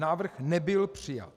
Návrh nebyl přijat.